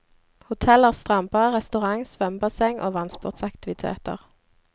Hotellet har strandbar, restaurant, svømmebasseng og vannsportsaktiviteter.